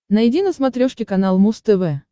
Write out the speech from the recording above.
найди на смотрешке канал муз тв